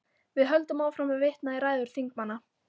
Við höldum áfram að vitna í ræður þingmanna.